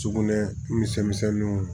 Sugunɛ misɛnninw